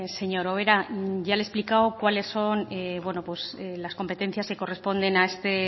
señora ubera ya le he explicado cuales son las competencias que corresponden a este